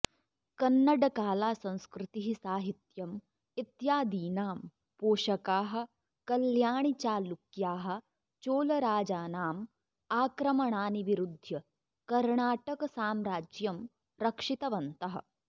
कन्नडकाला संस्कृतिः साहित्यम् इत्यादीनां पोषकाः कल्याणिचालुक्याः चोळराजानाम् आक्रमणानि विरुद्ध्य कर्णाटकसाम्राज्यम् रक्षितवन्तः